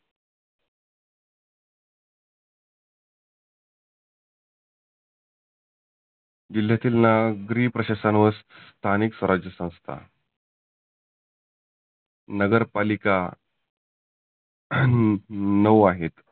जिल्ह्यातील नागरी प्रशासन व स्थानीक स्वराज्य संस्था नगर पालिका नऊ आहे.